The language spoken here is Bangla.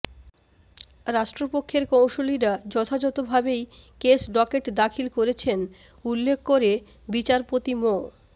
রাষ্ট্রপক্ষের কৌঁসুলিরা যথাযথভাবেই কেস ডকেট দাখিল করেছেন উল্লেখ করে বিচারপতি মো